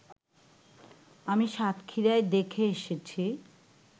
আমি সাতক্ষীরায় দেখে এসেছি